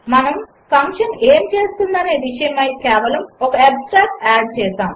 మనము ఫంక్షన్ ఏమి చేస్తుందనే విషయమై కేవలం ఒక ఆబ్స్ట్రాక్ట్ ఆడ్ చేసాము